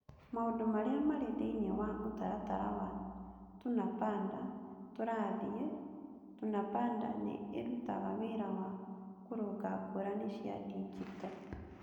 Maũndũ Marĩa Marĩ Thĩinĩ wa Mũtaratara wa Tunapanda (Tũrathiĩ) : Tunapanda nĩ ĩrutaga wĩra wa kũrũnga ngũrani cia digito.